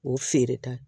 O feere ta